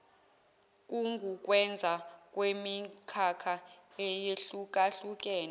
kungukwenza kwemikhakha eyehlukahlukene